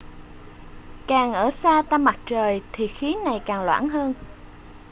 càng ở xa tâm mặt trời thì khí này càng loãng hơn